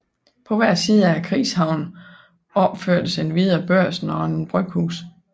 På hver side af krigshavnen opførtes endvidere Børsen og et bryghus